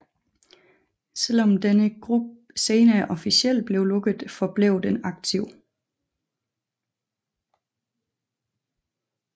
Selvom denne gruppe senere officielt blev lukket forblev den aktiv